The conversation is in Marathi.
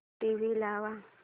टीव्ही लाव